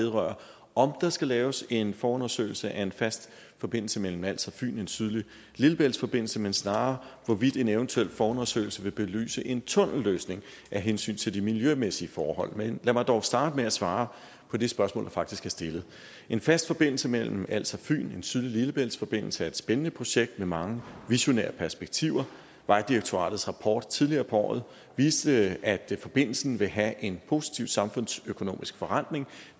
vedrører om der skal laves en forundersøgelse af en fast forbindelse mellem als og fyn en sydlig lillebæltsforbindelse men snarere hvorvidt en eventuel forundersøgelse vil belyse en tunnelløsning af hensyn til de miljømæssige forhold men lad mig dog starte med at svare på det spørgsmål der faktisk er stillet en fast forbindelse mellem als og fyn en sydlig lillebæltsforbindelse er et spændende projekt med mange visionære perspektiver vejdirektoratets rapport tidligere på året viste at forbindelsen vil have en positiv samfundsøkonomisk forrentning